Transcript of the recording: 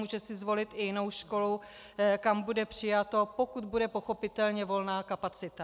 Může si zvolit i jinou školu, kam bude přijato, pokud bude, pochopitelně, volná kapacita.